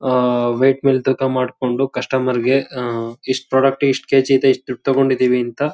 ಆಹ್ಹ್ weight ಮೆಲ್ ತೂಕ ಮಾಡ್ಕೋದು ಕಸ್ಟಮರ್ ಗೆ ಆಹ್ಹ್ ಇಸ್ಟ್ ಪ್ರಾಡಕ್ಟ್ ಇಸ್ಟ್ ಕೆ ಜಿ ಇದೆ ಇಸ್ಟ್ ದುಡ್ಡ್ ತಗೊಡಿದೀನಿ ಅಂತ --